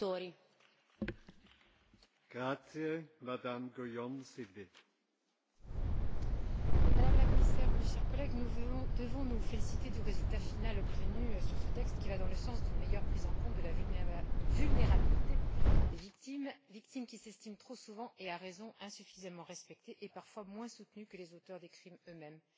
Monsieur le Président, Madame la Commissaire, chers collègues, nous devons nous féliciter du résultat final obtenu sur ce texte, qui va dans le sens d'une meilleure prise en compte de la vulnérabilité des victimes victimes qui s'estiment trop souvent, et à raison, insuffisamment respectées et, parfois, moins soutenues que les auteurs des crimes eux mêmes.